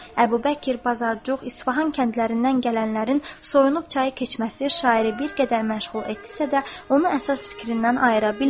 Əbubəkir, Bazarcıq, İsfahan kəndlərindən gələnlərin soyunub çayı keçməsi şairi bir qədər məşğul etdisə də, onu əsas fikrindən ayıra bilmədi.